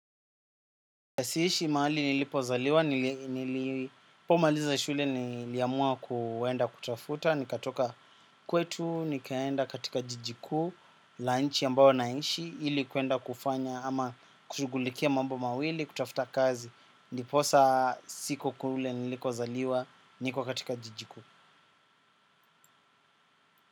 Siishi mahali nilipozaliwa, nilipomaliza shule niliamua kuenda kutafuta, nikatoka kwetu, nikaenda katika jiji kuu, lunch ambayo naishi, ili kuenda kufanya ama kushughulikia mambo mawili, kutafuta kazi, ndiposa siko kule nilikozaliwa, niko katika jiji kuu.